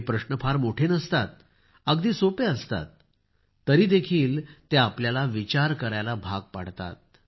हे प्रश्न फार खूप मोठे नसतात अगदी सोपे असतात तरीदेखील ते आपल्याला विचार करायला भाग पाडतात